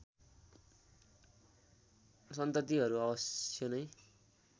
सन्ततिहरू अवश्य नै